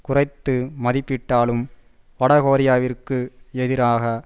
குறைத்து மதிப்பிட்டாலும் வடகொரியாவிற்கு எதிராக